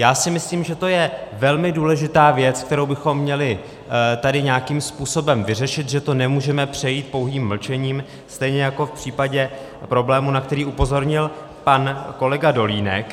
Já si myslím, že to je velmi důležitá věc, kterou bychom měli tady nějakým způsobem vyřešit, že to nemůžeme přejít pouhým mlčením, stejně jako v případě problému, na který upozornil pan kolega Dolínek.